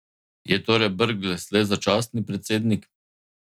Je torej Brglez le začasni predsednik?